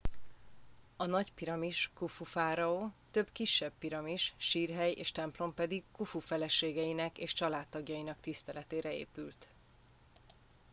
a nagy piramis khufu fáraó több kisebb piramis sírhely és templom pedig khufu feleségeinek és családtagjainak tiszteletére épült